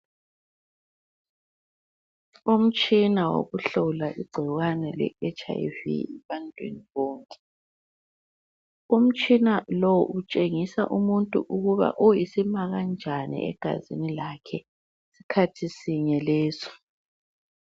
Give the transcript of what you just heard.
Umtshina wokuhlola igcikwane le HIV ebantwini bonke. Umtshina lo utshengisa umuntu ukuba uyisima kanjani egazini lakhe, skhathi sinye leso.